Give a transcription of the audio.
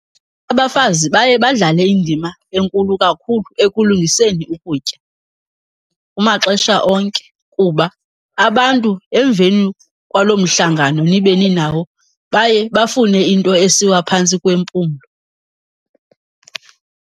Abafazi baye badlale indima enkulu kakhulu ekulungiseni ukutya kumaxesha onke, kuba abantu emveni kwaloo mhlangano nibe ninawo baye bafune into esiwa phantsi kwempumlo.